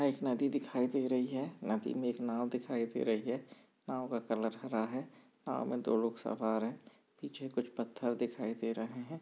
यहाँ एक नदी दिखाई दे रही है नदी मे नाव दिखाई दे रही है नाव का कलर हरा है नाव मे दो लोग साथ आ रहे है पीछे कुछ पत्थर दिखाई रहे है।